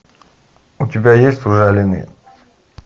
у тебя есть ужаленные